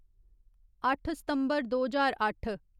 अट्ठ सितम्बर दो ज्हार अट्ठ